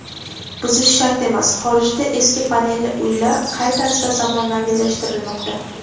Buzish shart emas: Xorijda eski panelli uylar qay tarzda zamonaviylashtirilmoqda.